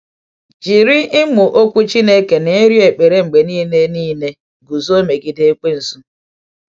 Jiri ịmụ Okwu Chineke na ịrịọ ekpere mgbe niile niile guzo megide Ekwensu.